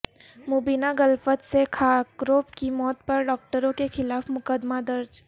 مبینہ غلفت سے خاکروب کی موت پر ڈاکٹروں کے خلاف مقدمہ درج